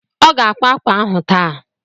Ọ ga-akwá ákwà ahụ taa.